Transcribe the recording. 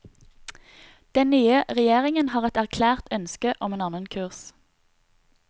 Den nye regjeringen har et erklært ønske om en annen kurs.